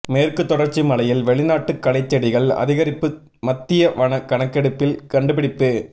மேற்குத் தொடா்ச்சி மலையில் வெளிநாட்டு களைச்செடிகள் அதிகரிப்புமத்திய வன கணக்கெடுப்பில் கண்டுபிடிப்பு